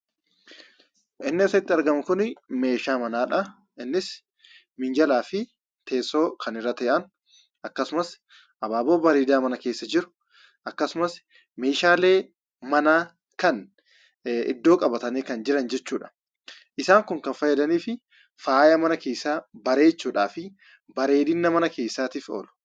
Inni asitti argamu kuni meeshaa manaadha. Innis minjalaafi teessoo kan irra ta'an akkasumas abaaboo bareedaa mana keessa jiru, akkasumas meeshaalee manaa kan iddoo qabatanii jiran jechuudha. Isaan kun kan fayyadaniif faaya mana keessaa bareechuudhafi bareedina mana keesaatif oolu.